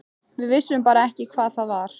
Við vissum bara ekki hvað það var.